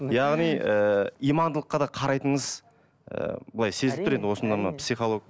яғни ііі имандылыққа да қарайтыныңыз ы былай сезіліп тұр енді осында мына